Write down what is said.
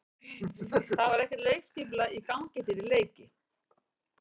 Það var ekkert leikskipulag í gangi fyrir leiki.